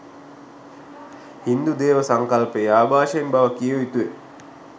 හින්දු දේව සංකල්පයේ ආභාෂයෙන් බව කිව යුතු ය.